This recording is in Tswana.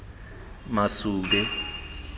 masube